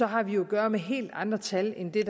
har vi at gøre med helt andre tal end det